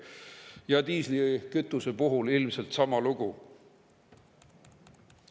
Ja diislikütuse puhul on ilmselt sama lugu.